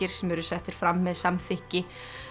sem eru settir fram með samþykki